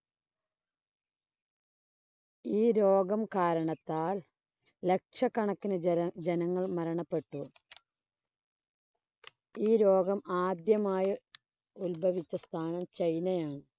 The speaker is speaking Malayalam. ഈ രോഗം കാരണത്താൽ ലക്ഷക്കണക്കിന് ജന ജനങ്ങൾ മരണപ്പെട്ടു. ഈ രോഗം ആദ്യമായി ഉത്ഭവിച്ച സ്ഥാനം ചൈനയാണ്.